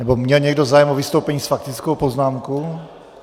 Nebo měl někdo zájem o vystoupení s faktickou poznámkou?